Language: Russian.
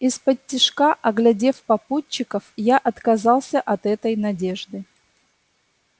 исподтишка оглядев попутчиков я отказался от этой надежды